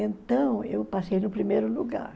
Então, eu passei no primeiro lugar.